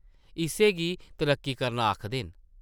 इस्सै गी तरक्की करना आखदे न ।